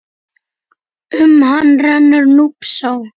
Um hann rennur Núpsá.